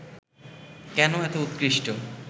কেন এত উৎকৃষ্ট